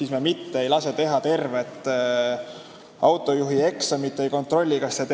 See ei ole küll eetikaküsimus, aga teie näide on hea.